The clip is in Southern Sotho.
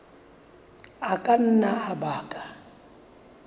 a ka nna a baka